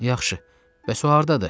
Yaxşı, bəs o hardadır?